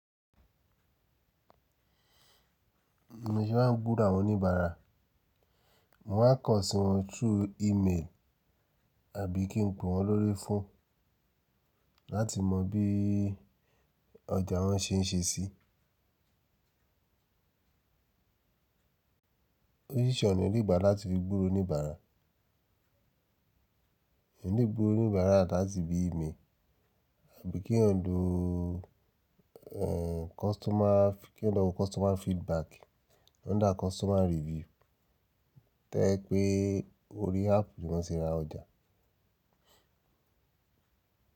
Bi mo se máa ń gburo àwọn oníbàárà, mò ń maa n kan sí wọn through email àbí kí n pè wọ́n lórí phone láti mọ bí ọjà wọn ṣe ń ṣe sí. O ṣọ̀nà onígbà láti gbúró oníbàárà. Òní gbúró oníbàárà dá sí bí email, àbí kí èèyàn lo customer feedback, under customer review. To ẹ́ pé orí app ni wọ́n tí ra ọjà.